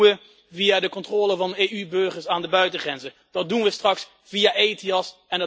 Dat doen we via de controle van EU burgers aan de buitengrenzen. Dat doen we straks via ETIAS.